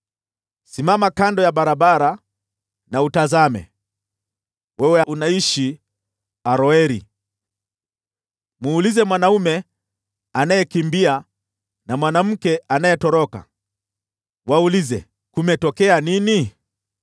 Simama kando ya barabara na utazame, wewe unayeishi Aroeri. Muulize mwanaume anayekimbia na mwanamke anayetoroka, waulize, ‘Kumetokea nini?’